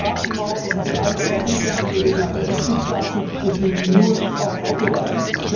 Die Straßenmaut ist eine freiwillige Angelegenheit der Mitgliedstaaten und gilt nur auf Autobahnen.